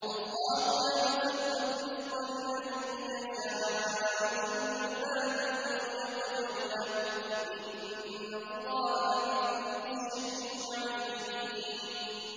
اللَّهُ يَبْسُطُ الرِّزْقَ لِمَن يَشَاءُ مِنْ عِبَادِهِ وَيَقْدِرُ لَهُ ۚ إِنَّ اللَّهَ بِكُلِّ شَيْءٍ عَلِيمٌ